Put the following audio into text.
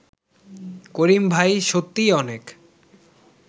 করিম ভাই সত্যিই অনেক